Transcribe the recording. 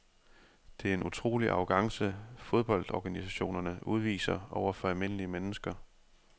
Det er en utrolig arrogance fodboldorganisationerne udviser over for almindelige mennesker.